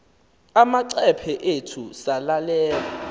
amacephe ethu selelal